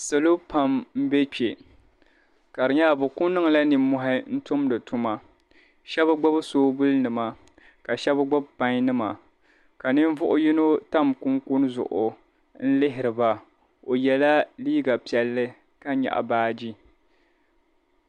Salo pam m-be kpe ka di nyɛla bɛ ku niŋla nimmɔhi n-tumdi tuma. Shɛba gbibi soobulinima ka shɛba gbibi painnima ka ninvuɣ' yino tam kunkuni zuɣu n-lihiri ba. O yɛla liiga piɛlli ka nyaɣi baaji.